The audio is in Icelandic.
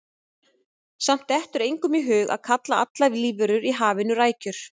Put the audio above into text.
Samt dettur engum í hug að kalla allar lífverur í hafinu rækjur.